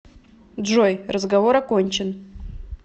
джой разговор окончен